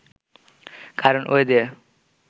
কারণ ওই দিয়ে